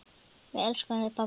Við elskum þig, pabbi.